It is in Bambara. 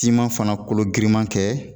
siman fana kolo giriman kɛ